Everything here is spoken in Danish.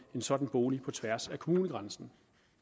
sådan bolig på tværs af kommunegrænsen